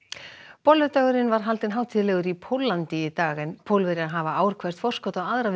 bolludagurinn var haldinn hátíðlegur í Póllandi í dag Pólverjar hafa ár hvert forskot á aðra við